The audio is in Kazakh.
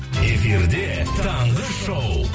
эфирде таңғы шоу